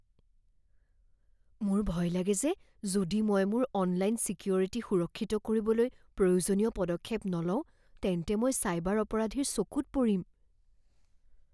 মোৰ ভয় লাগে যে যদি মই মোৰ অনলাইন ছিকিউৰিটী সুৰক্ষিত কৰিবলৈ প্ৰয়োজনীয় পদক্ষেপ নলওঁ, তেন্তে মই চাইবাৰ অপৰাধীৰ চকুত পৰিম।